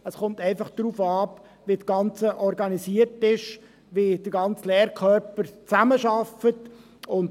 Es kommt einfach darauf an, wie das Ganze organisiert ist, wie der ganze Lehrkörper zusammenarbeitet.